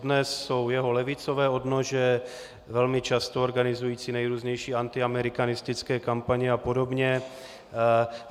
Dodnes jsou jeho levicové odnože velmi často organizující nejrůznější antiamerikanistické kampaně a podobně.